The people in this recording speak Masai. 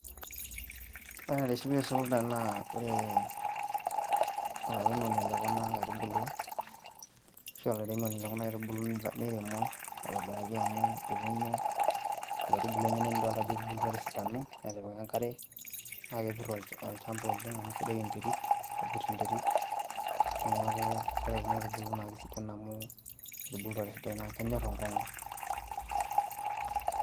Ore enaitishipisho oleng naa ore olaunoni lekuna aitubulu ashu olairemoni lekuna aitubulu niremo aitobiraki amu etuuno nkaitubulu enyenak nidolita ajo etubulutua te sidano ,etipika enkare naa kepir olchamba oleng amu isidai enterit , kepir enterit ,niaku ore kuna aitubulu naa kisidan amu etubulutua esidai naa kenyor enkongu.